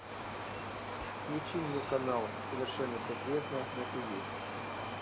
включи мне канал совершенно секретно на тв